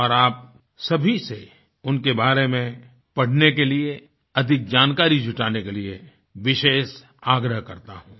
और आप सभी से उनके बारे में पढ़ने के लिए अधिक जानकारी जुटाने के लिए विशेष आग्रह करता हूँ